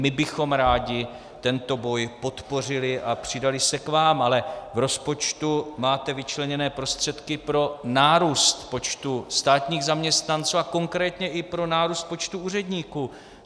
My bychom rádi tento boj podpořili a přidali se k vám, ale v rozpočtu máte vyčleněné prostředky pro nárůst počtu státních zaměstnanců a konkrétně i pro nárůst počtu úředníků.